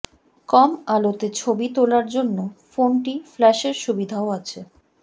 কম আলোতে ছবি তোলার জন্য ফোনটি ফ্ল্যাশের সুবিধাও আছে